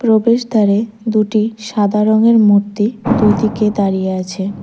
প্রবেশদ্বারে দুটি সাদা রঙের মূর্তি দুইদিকে দাঁড়িয়ে আছে।